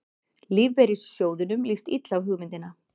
Lífeyrissjóðunum líst illa á hugmyndina